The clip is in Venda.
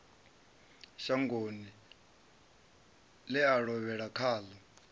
shangoni ḽe a lovhela khaḽo